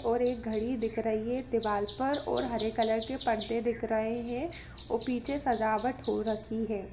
और एक घड़ी दिख रही हैं दीवाल पर और हरे कलर के पर्दे दिख रहे हैं औ पीछे सजावट हो रखी हैं।